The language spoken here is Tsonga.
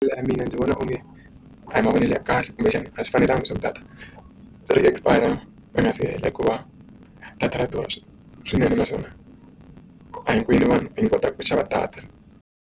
Mina ndzi vona onge a hi mavonelo ya kahle kumbexana a swi fanelanga leswaku data ri expire ri nga se hela hikuva data ra durha swinene naswona a hinkwenu vanhu hi nga kotaka ku xava data.